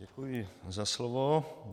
Děkuji za slovo.